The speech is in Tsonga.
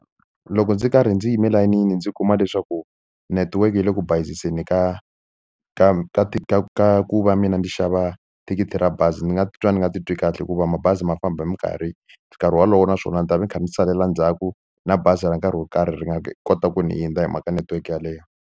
Loko ndzi karhi ndzi yime layinini ndzi kuma leswaku network yi le ku bayiziseni ka ka ka ka ka ku va mina ni xava thikithi ra bazi ni nga titwa ni nga titwi kahle hikuva mabazi ma famba hi mikarhi nkarhi wolowo naswona ndzi ta ve ni kha ni salela ndzhaku na bazi ra nkarhi wo karhi ri nga kota ku ni hindza hi mhaka network yaleyo.